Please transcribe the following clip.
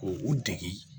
Ko u dege